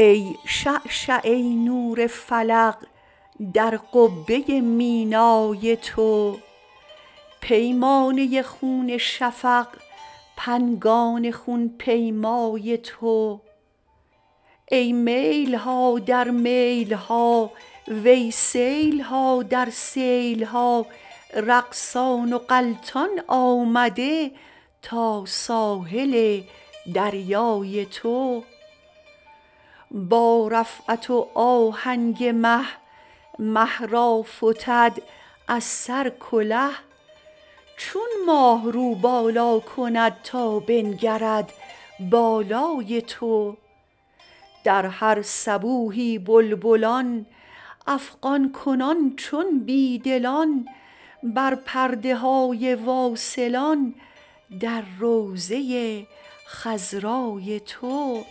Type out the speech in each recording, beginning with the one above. ای شعشعه نور فلق در قبه مینای تو پیمانه خون شفق پنگان خون پیمای تو ای میل ها در میل ها وی سیل ها در سیل ها رقصان و غلتان آمده تا ساحل دریای تو با رفعت و آهنگ مه مه را فتد از سر کله چون ماه رو بالا کند تا بنگرد بالای تو در هر صبوحی بلبلان افغان کنان چون بی دلان بر پرده های واصلان در روضه خضرای تو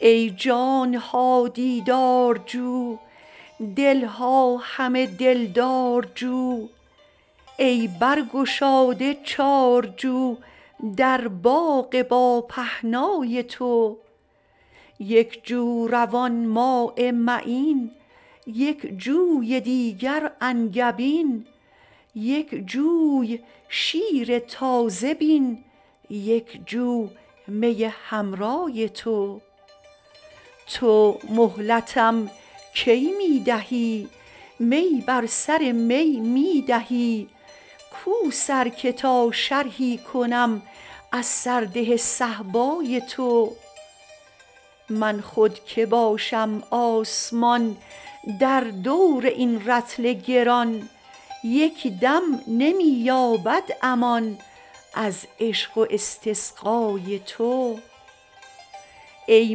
ای جان ها دیدارجو دل ها همه دلدارجو ای برگشاده چارجو در باغ باپهنای تو یک جو روان ماء معین یک جوی دیگر انگبین یک جوی شیر تازه بین یک جو می حمرای تو تو مهلتم کی می دهی می بر سر می می دهی کو سر که تا شرحی کنم از سرده صهبای تو من خود کی باشم آسمان در دور این رطل گران یک دم نمی یابد امان از عشق و استسقای تو ای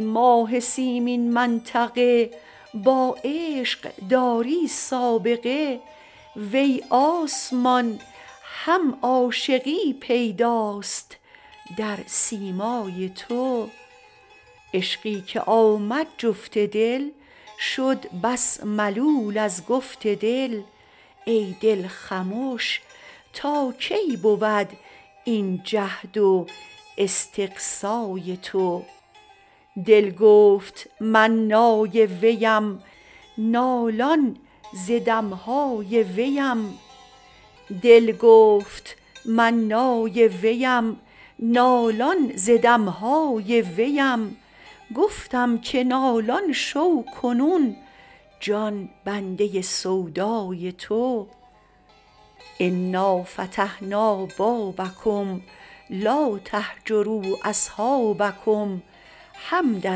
ماه سیمین منطقه با عشق داری سابقه وی آسمان هم عاشقی پیداست در سیمای تو عشقی که آمد جفت دل شد بس ملول از گفت دل ای دل خمش تا کی بود این جهد و استقصای تو دل گفت من نای ویم نالان ز دم های ویم گفتم که نالان شو کنون جان بنده سودای تو انا فتحنا بابکم لا تهجروا اصحابکم حمدا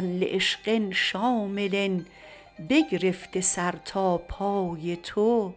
لعشق شامل بگرفته سر تا پای تو